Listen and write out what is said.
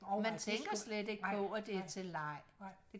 man tænker slet ikke på det er til leg